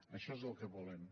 això és el que volem